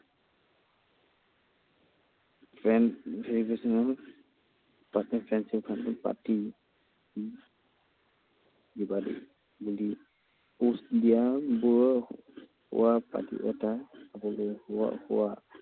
Friend friendship এটা পাতি, post দিয়াবোৰৰ এটা